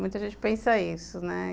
Muita gente pensa isso, né?